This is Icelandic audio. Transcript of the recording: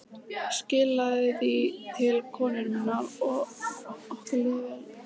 Skilaðu því til konu minnar að okkur líði vel.